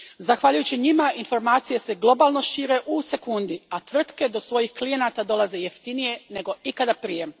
Zahvaljujući njima informacije se globalno šire u sekundi, a tvrtke do svojih klijenata dolaze jeftinije nego ikad prije.